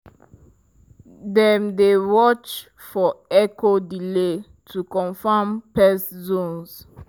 dem dey watch for echo delay to confirm pest zones.